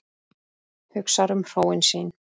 Hugsar um hróin sín.